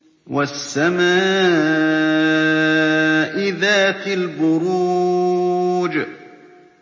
وَالسَّمَاءِ ذَاتِ الْبُرُوجِ